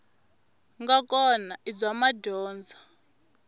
nga kona i bya madyondza